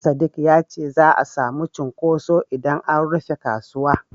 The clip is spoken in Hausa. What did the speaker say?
Sadik ya ce za'a samu cunkoso idan an rufe kasuwa.